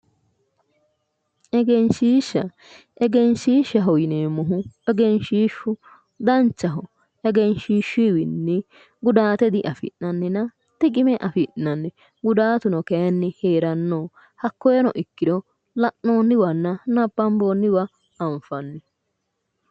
egenshiishsha egenshiishshaho yineemmohu egenshiishshu danchaho egenshiishshuyiwinni gudaate diafi'nannina xiqime afi'nayi gudaatuno kayinni heeranno hakkoyino ikkiro la'noonniwanna nabbamboonniwa anfanni.